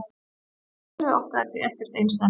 Sólkerfið okkar er því ekkert einsdæmi.